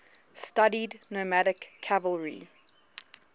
studied nomadic cavalry